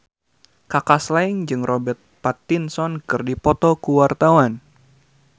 Kaka Slank jeung Robert Pattinson keur dipoto ku wartawan